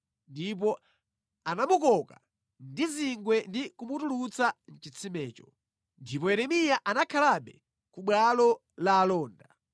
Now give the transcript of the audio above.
ndipo anamukoka ndi zingwe ndi kumutulutsa mʼchitsimecho. Ndipo Yeremiya anakhalabe ku bwalo la alonda.